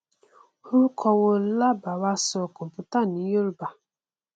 orúkọ wo láà bá wá sọ computer ní yorùbá